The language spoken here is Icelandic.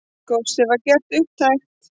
Góssið var gert upptækt.